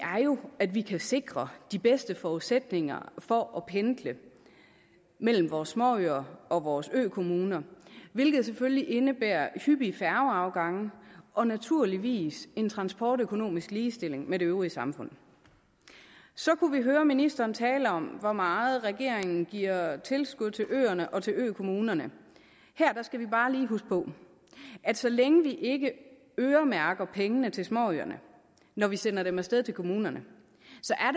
jo at vi kan sikre de bedste forudsætninger for at pendle mellem vores småøer og vores økommuner hvilket selvfølgelig indebærer hyppige færgeafgange og naturligvis en transportøkonomisk ligestilling med det øvrige samfund så kunne vi høre ministeren tale om hvor meget regeringen giver i tilskud til øerne og til økommunerne her skal vi bare lige huske på at så længe vi ikke øremærker pengene til småøerne når vi sender dem af sted til kommunerne